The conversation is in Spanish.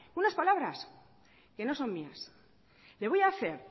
unas palabras que no son mías le voy a hacer